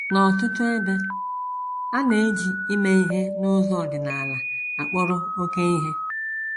N’ọtụtụ ebe, a na - eji ime ihe n’ụzọ ọdịnala akpọrọ oké ihe.